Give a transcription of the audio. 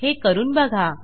हे करून बघा